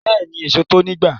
Beeni, eso to ni igba